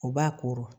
U b'a kɔrɔ